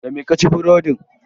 Da me ka ci burodin?